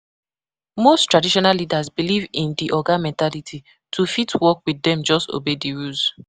Most traditional leaders believe in di oga mentality, to fit work with dem just obey di rules